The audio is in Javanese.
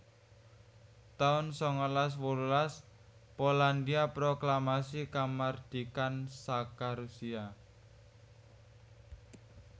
taun sangalas wolulas Polandhia proklamasi kamardikan saka Rusia